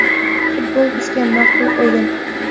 Futbol bizga ma’qul o‘yin.